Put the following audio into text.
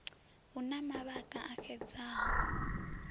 hu na mavhaka a xedzaho